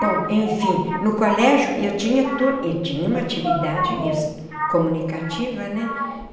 Bom, e enfim, no colégio e eu tinha tu e tinha uma atividade comunicativa, né?